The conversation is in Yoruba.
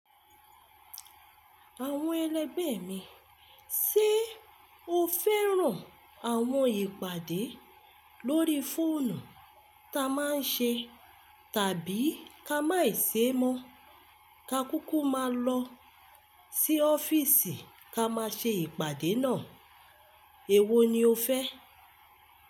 Àwọn ẹlẹ́gbẹ̀ mi, ṣe o fẹ́ràn àwọn ìpàdé lórí fóònù ta má a ń ṣe tàbí ká máì ṣe mọ́, ká kúkú má a lọ sí ọ́fíísì ká má a ṣe ìpàdé náà. Èwo ni o fẹ́?